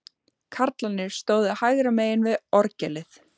Karlarnir stóðu hægra megin við orgelið.